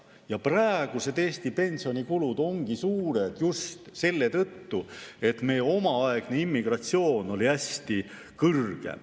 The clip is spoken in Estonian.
Eesti praegused pensionikulud ongi suured just selle tõttu, et meie omaaegne immigratsioon oli hästi kõrge.